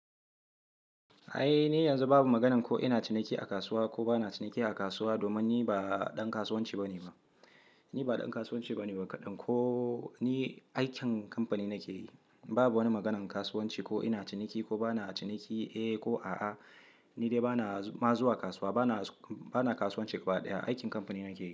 Ai ni yanzu babu maganan ko ina ciniki a kasuwa ko ba na ciniki a kasuwa domin ni ba ɗan kasuwanci ba ne Ni ba ɗan kasuwanci ba ne ba kaɗan. Ko ni aikin kamfani nake yi, babu wani maganan kasuwanci ko ina ciniki ko ba na ciniki, eh ko a'a, ni dai ba na ma zuwa kasuwa, ba na kasuwanci ƙgaɓa ɗaya. Aikin kamfani nake yi.